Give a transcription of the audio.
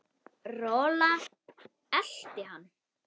Rola elti hann.